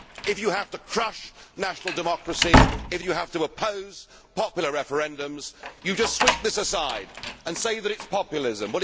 there. If you have to crush national democracy, if you have to oppose popular referendums, you just sweep this aside and say that it is populism.